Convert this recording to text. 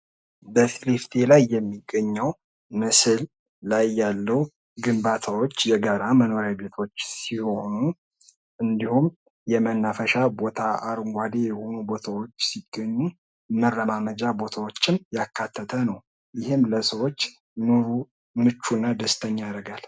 በፊት ለፊቴ ላይ የሚገኘው ምስል ላይ ያለው ግንባታዎች የጋራ መኖሪያ ቤቶች ሲሆኑ እንዲሁም የመናፈሻ ቦታ አረንጓዴ የሆኑ ቦታዎች ሲገኙ መረማመጃ ቦታዎችም ያካተተ ነው ። ይህም ለሰዎች ኑሮ ምቹ እና ደስተኛ ያደርጋል ።